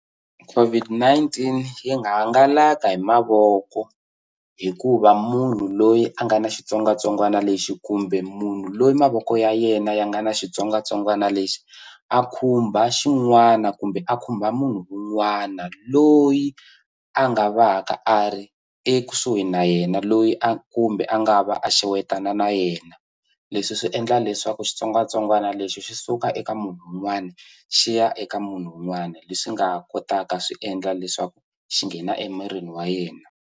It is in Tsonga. COVID-19 yi nga hangalaka hi mavoko hikuva munhu loyi a nga ni xitsongwatsongwana lexi kumbe munhu loyi mavoko ya yena ya nga ns xitsongwatsongwana lexi a khumba xin'wana kumbe a khumba munhu un'wana loyi a nga va ka a ri ekusuhi na yena loyi a kumbe a nga va a xewetana na yena leswi swi endla leswaku xitsongwatsongwana lexi xi suka eka munhu wun'wani xi ya eka munhu un'wani leswi nga kotaka swi endla leswaku xi nghena emirini wa yena.